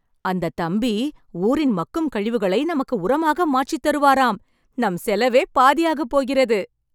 அந்தத் தம்பி ஊரின் மக்கும் கழிவுகளை நமக்கு உரமாக மாற்றித்தருவாராம்.. நம் செலவே பாதியாகப்போகிறது!